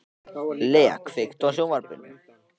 Lea, kveiktu á sjónvarpinu.